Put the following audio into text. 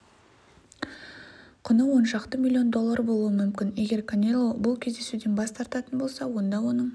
құны оншақты миллион доллар болуы мүмкін егер канело бұл кездесуден бас тартатын болса онда оның